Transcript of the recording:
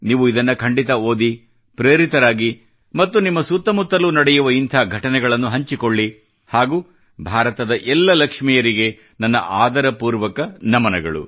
ನೀವು ಇದನ್ನ ಖಂಡಿತ ಓದಿ ಪ್ರೇರಿತರಾಗಿ ಮತ್ತು ನಿಮ್ಮ ಸುತ್ತಮುತ್ತಲೂ ನಡೆಯುವ ಇಂಥ ಘಟನೆಗಳನ್ನು ಹಂಚಿಕೊಳ್ಳಿ ಹಾಗೂ ಭಾರತದ ಎಲ್ಲ ಲಕ್ಷ್ಮಿಯರಿಗೆ ನನ್ನ ಆದರ ಪೂರ್ವಕ ನಮನಗಳು